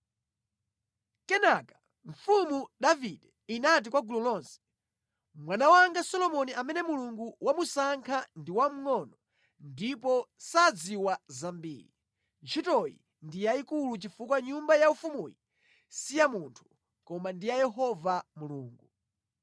Kenaka, mfumu Davide inati kwa gulu lonse: “Mwana wanga Solomoni amene Mulungu wamusankha ndi wamngʼono ndipo sadziwa zambiri. Ntchitoyi ndi yayikulu chifukwa nyumba yaufumuyi si ya munthu, koma ndi ya Yehova Mulungu.